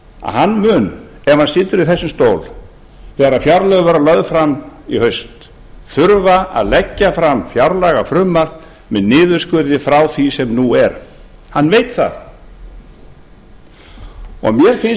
að hann mun ef hann situr í þessum stól þegar fjárlög verða lögð fram í haust þurfa að leggja fram fjárlagafrumvarp með niðurskurði frá því sem nú er hann veit það mér finnst